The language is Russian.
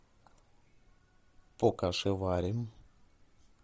покашеварим